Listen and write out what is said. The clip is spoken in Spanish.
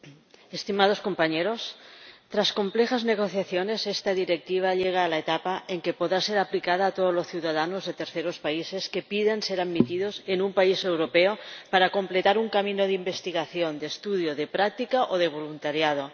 Señor Presidente, estimados compañeros, tras complejas negociaciones, esta Directiva llega a la etapa en que podrá ser aplicada a todos los ciudadanos de terceros países que pidan ser admitidos en un país europeo para completar un camino de investigación, de estudio, de práctica o de voluntariado.